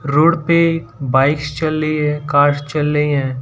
Road पे bikes चल रही है कार्स चल रहें हैं।